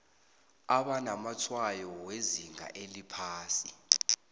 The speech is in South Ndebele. abanamatshwayo wezinga eliphasi